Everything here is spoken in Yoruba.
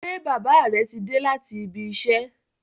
Ṣé bàbá rẹ ti dé láti ibi -iṣẹ́?